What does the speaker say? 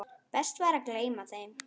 Best væri að gleyma þeim.